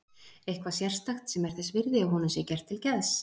Eitthvað sérstakt sem er þess virði að honum sé gert til geðs.